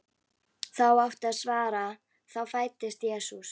þá átti að svara: þá fæddist Jesús.